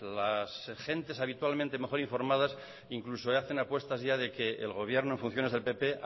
las gentes habitualmente mejor informadas incluso hacen apuestas ya de que el gobierno en funciones del pp